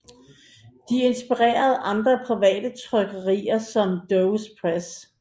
De inspirerede andre private trykkerier som Doves Press